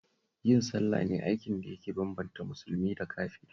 Yin sallah ne aikin da yake bambanta musulmi da kafiri